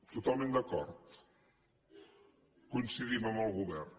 totalment d’acord coincidim amb el govern